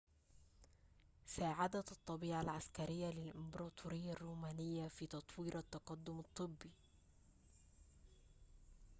ساعدت الطبيعة العسكرية للإمبراطورية الرومانية في تطوير التقدم الطبي